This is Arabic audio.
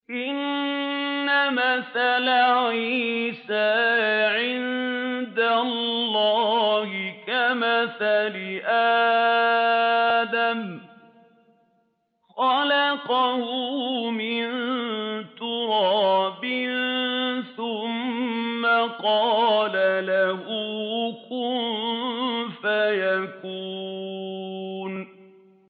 إِنَّ مَثَلَ عِيسَىٰ عِندَ اللَّهِ كَمَثَلِ آدَمَ ۖ خَلَقَهُ مِن تُرَابٍ ثُمَّ قَالَ لَهُ كُن فَيَكُونُ